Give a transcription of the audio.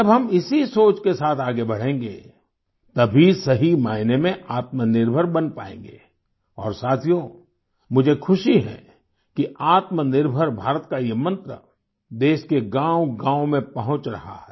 जब हम इसी सोच के साथ आगे बढ़ेंगे तभी सही मायने में आत्मनिर्भर बन पाएंगे और साथियो मुझे खुशी है कि आत्मनिर्भर भारत का ये मंत्र देश के गाँवगाँव में पहुँच रहा है